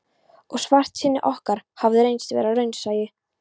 Og svartsýni okkar hafði reynst vera raunsæi.